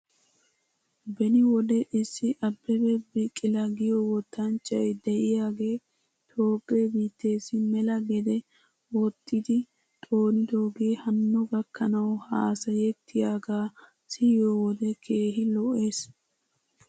Beni wode issi abebe bikila giyoo wottanchchay de'iyaagee toophphee biitteessi mela gede wozmxxidi xoonidoogee hanno gakkanaw haasayettiyaagaa siyoo wode keehi lo'es.